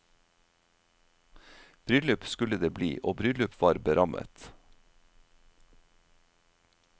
Bryllup skulle det bli og bryllup var berammet.